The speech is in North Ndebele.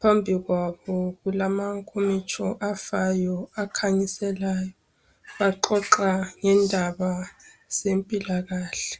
Phambi kwabo kulamankomitshi afayo akhanyiselayo. Baxoxa ngendaba zempilakahle.